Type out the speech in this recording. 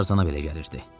Amma tarzına belə gəlirdi.